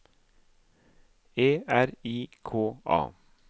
E R I K A